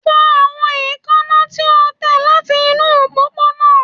Fọ awọn eekanna ti o tẹ lati inu opoplopo